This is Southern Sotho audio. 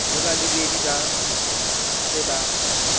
le balebedi ba se ba